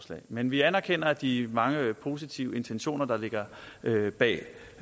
men vi anerkender de mange positive intentioner der ligger bag